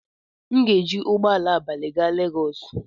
M ga-eji ụgbọ ala abalị gaa Legos.